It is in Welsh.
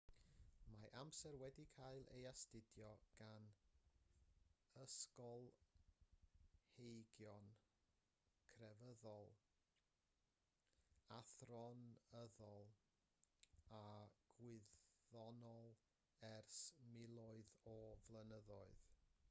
mae amser wedi cael ei astudio gan ysgolheigion crefyddol athronyddol a gwyddonol ers miloedd o flynyddoedd